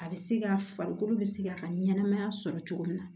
A bɛ se ka farikolo bɛ se ka ka ɲɛnɛmaya sɔrɔ cogo min na